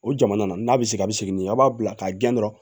O jamana n'a bɛ segin a bɛ segin n'i ye aw b'a bila k'a gɛn dɔrɔn